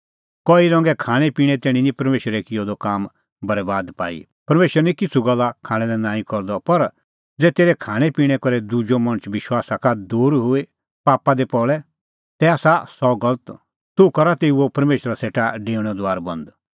कई रंगे खाणेंपिणें तैणीं निं परमेशरै किअ द काम बरैबाद पाई परमेशर निं किछ़ू गल्ला खाणां लै नांईं करदअ पर ज़ै तेरै खाणैंपिणैं करै दुजअ मणछ विश्वासा का दूर हई पापा दी पल़े तै आसा सह गलत तूह करा तेऊओ परमेशरा सेटा डेऊणेओ दुआर बंद